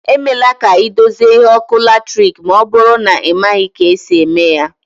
E mela ka ị dozie ihe ọkụ latiriki ma ọbụrụ na ị maghị ka esi eme ya